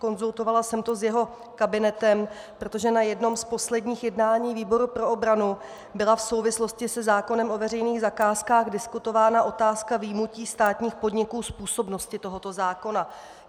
Konzultovala jsem to s jeho kabinetem, protože na jednom z posledních jednání výboru pro obranu byla v souvislosti se zákonem o veřejných zakázkách diskutována otázka vyjmutí státních podniků z působnosti tohoto zákona.